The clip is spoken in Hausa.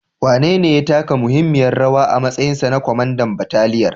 Wanene ya taka muhimmiyar rawa a matsayinsa na kwamandan bataliyar?